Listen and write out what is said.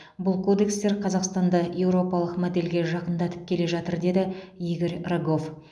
бұл кодекстер қазақстанды еуропалық модельге жақындатып келе жатыр деді игорь рогов